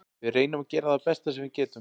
Við reynum að gera það besta sem við getum.